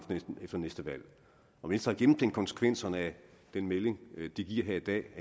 efter næste valg har venstre gennemtænkt konsekvenserne af den melding de giver her i dag